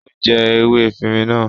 Ó jẹ ewé efirin náà.